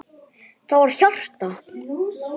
Það var hjarta!